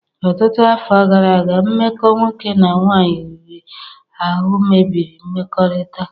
Ọtụtụ afọ gara aga, mmekọ nwoke na nwaanyị riri ahụ mebiri mmekọrịta.